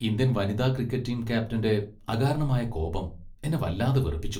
Indian വനിതാ cricket team ക്യാപ്റ്റന്റെ അകാരണമായ കോപം എന്നെ വല്ലാതെ വെറുപ്പിച്ചു .